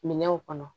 Minɛnw kɔnɔ